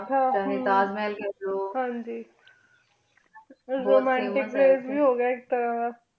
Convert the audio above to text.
ਤਾਜ ਮਹਿਲ ਖ ਲੋ